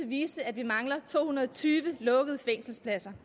viste at vi manglede to hundrede og tyve lukkede fængselspladser